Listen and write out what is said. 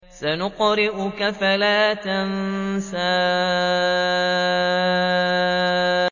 سَنُقْرِئُكَ فَلَا تَنسَىٰ